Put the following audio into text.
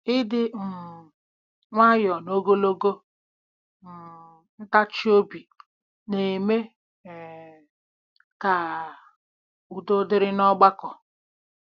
Ịdị um nwayọọ na ogologo um ntachi obi na-eme um ka udo dịrị n’ọgbakọ.